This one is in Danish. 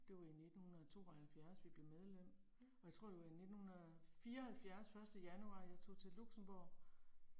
Det var i 1972 vi blev medlem. Og jeg tror det var i 1974 første januar jeg tog til Luxembourg